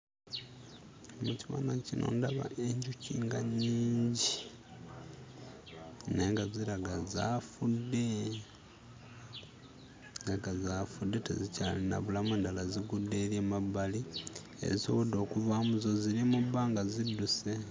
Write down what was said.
Mu kifaananyi kino ndaba enjuki nga nnyingi naye nga ziraga zaafudde, zirabika zaafudde tezikyalina bulamu, endala zigudde eri emabbali; ezisobodde okuvaamu zo ziri mu bbanga zidduse.